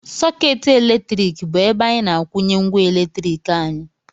Sọkeetị eletriki bụ ebe anyị na-akwunye ngwa eletrik anyị